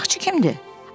Ocaqçı kimdir?